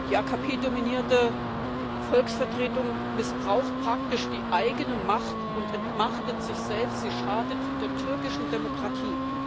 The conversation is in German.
Die AKP dominierte Volksvertretung missbraucht praktisch die eigene Macht und entmachtet sich selbst, sie schadet der türkischen Demokratie.